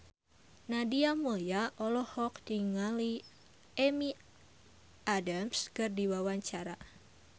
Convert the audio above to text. Nadia Mulya olohok ningali Amy Adams keur diwawancara